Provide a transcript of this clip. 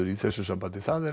í þessu samhengi það er